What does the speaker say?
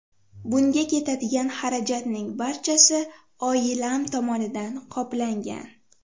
Bunga ketadigan xarajatning barchasi oilam tomonidan qoplangan.